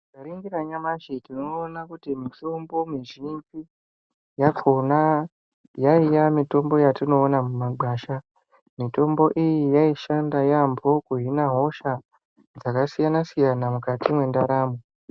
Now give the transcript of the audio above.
Tikaringira nyamashi tinoona kuti mitombo mizhinji yakona yaiya mitombo yatinoona mumagwasha. Mitombo iyi yaishanda yaambo kuhina hosha dzakasiyana-siyana mukati mwendaramo.